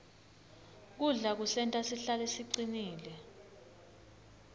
kudla kusenta sihlale sicinile